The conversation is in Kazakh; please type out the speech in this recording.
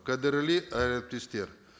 қадірлі әріптестер